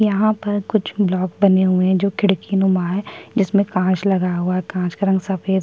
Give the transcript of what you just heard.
यहाँ पर कुछ ब्लॉक बने हुए हैं जो खिड़की नुमा है जिसमें कांच लगा हुआ है कांच का रंग सफेद--